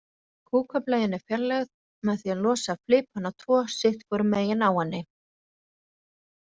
Kúkableian er fjarlægð með því að losa flipana tvo sitt hvoru megin á henni.